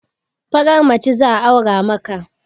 Farar mace zan aura maka